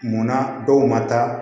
Munna dɔw ma taa